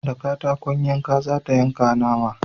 Da katakon yanka za ta yanka nama